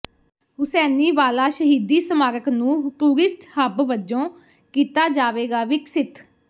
ਹੁਸੈਨੀਵਾਲਾ ਸ਼ਹੀਦੀ ਸਮਾਰਕ ਨੂੰ ਟੂਰਿਸਟ ਹੱਬ ਵਜੋਂ ਕੀਤਾ ਜਾਵੇਗਾ ਵਿਕਸਿਤ